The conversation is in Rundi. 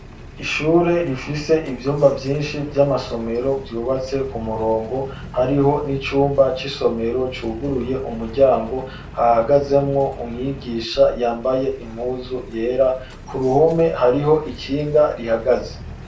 Ishure, rifise ivyumba vyinshi, vy'amasomero, vyubatse ku murongo; hariho n'icumba c'isomero, cuguruye umuryango, hahagazemwo umwigisha, yambaye impuzu yera; ku ruhome, hariho ikinga rihagaze.